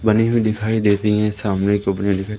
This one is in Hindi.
बनी हुई दिखाई देती है। सामने को अपने लिए--